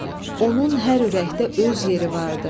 Onun hər ürəkdə öz yeri vardı.